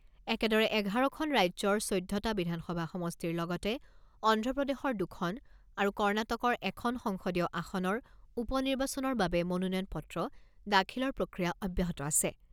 একেদৰে এঘাৰখন ৰাজ্যৰ চৈধ্যটা বিধানসভা সমষ্টিৰ লগতে অন্ধপ্ৰদেশৰ দুখন আৰু কৰ্ণাটকৰ এখন সংসদীয় আসনৰ উপনিৰ্বাচনৰ বাবে মনোনয়ন পত্ৰ দাখিলৰ প্ৰক্ৰিয়া অব্যাহত আছে।